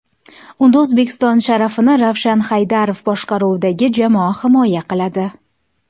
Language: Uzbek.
Unda O‘zbekiston sharafini Ravshan Haydarov boshqaruvidagi jamoa himoya qiladi.